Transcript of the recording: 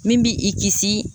Min b'i i kisi